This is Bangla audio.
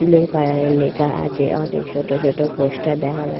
ব্লু কালার -এর লেখা আছে। অনেক ছোট ছোট পোস্টার দেখা যা--